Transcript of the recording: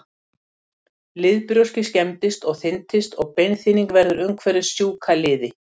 Liðbrjóskið skemmist og þynnist og beinþynning verður umhverfis sjúka liði.